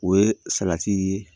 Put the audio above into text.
O ye salati ye